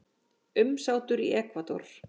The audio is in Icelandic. Umsátur í Ekvador